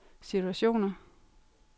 situationer